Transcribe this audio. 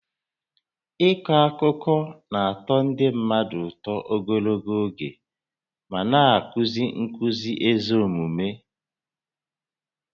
Ịkọ akụkọ na-atọ ndị mmadụ ụtọ ogologo oge ma na-akụzi nkuzi ezi omume